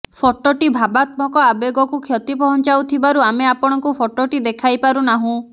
ଫଟୋଟି ଭାବାତ୍ମକ ଆବେଗକୁ କ୍ଷତି ପହଂଚାଉଥିବାରୁ ଆମେ ଆପଣଙ୍କୁ ଫଟୋଟି ଦେଖାଇପାରୁନାହୁଁ